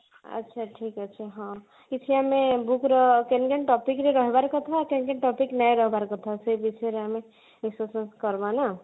ଆଛା ଠିକ ଅଛି ହଁ କିଛି ଆମେ book ର କେନ କେନ topic ର ରହିବାର କଥା କେନ କେନ topic ର ନେଇ ରହିବାର କଥା ସେଇ ବିଷୟରେ ଆମେ discussion କରବା ନା